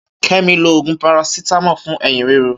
Kẹmi lo òògùn parasitamọ fún eyin riro.